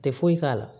Tɛ foyi k'a la